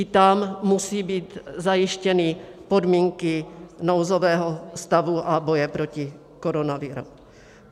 I tam musí být zajištěny podmínky nouzového stavu a boje proti koronaviru.